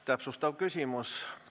Täpsustav küsimus.